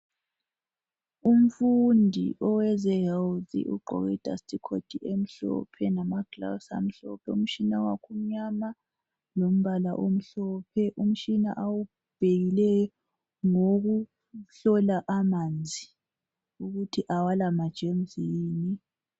Imfundi oweze health ugqoke I dust coat emhlophe lama gloves amhlophe umtshina wakhe umnyama lombala omhlophe umtshina awubhekileyo ngowokuhlola amanzi ukuthi awala ma gems yini